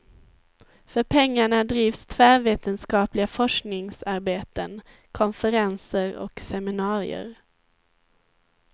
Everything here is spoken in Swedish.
För pengarna drivs tvärvetenskapliga forskningsarbeten, konferenser och seminarier.